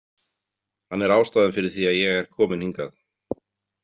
Hann er ástæðan fyrir því að ég er komin hingað.